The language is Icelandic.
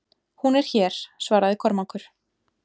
Hún er hér, svaraði Kormákur.